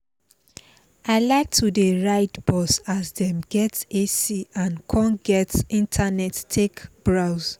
i like to dey ride bus as dem get ac and con get internet take browse